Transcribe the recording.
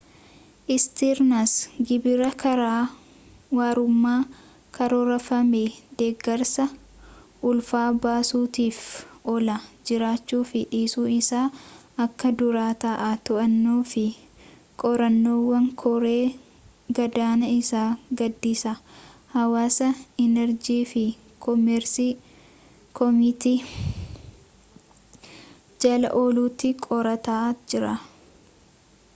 istiirns gibirri karaa warrummaa karoorfamee deeggarsa ulfa baasuutiif oolaa jiraachuu fi dhiisuu isaa akka dura-ta'aa to'annaa fi qorannaawwan koree-gadaanaa isa gaaddisa haawus enerjii fi koomersi koomitii jala ooluutti qorataa jira